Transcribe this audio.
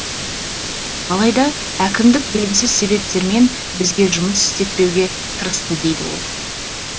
алайда әкімдік белгісіз себептермен бізге жұмыс істетпеуге тырысты дейді ол